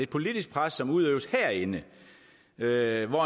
politisk pres som udøves herinde derimod